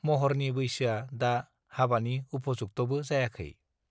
महरनि बैसोआ दा हाबानि उफजुक्ताबो जायाखै